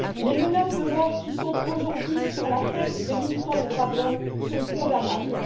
Les menaces de mort qui planent aujourd'hui sur la tête des militants des droits de l'homme sont condamnables.